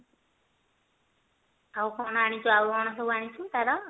ଆଉ କଣ ଆଣିଛୁ ଆଉ କଣ ସବୁ ଆଣିଛୁ ତାର?